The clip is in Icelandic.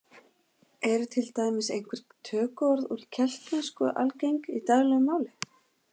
Eru til dæmis einhver tökuorð úr keltnesku algeng í daglegu máli?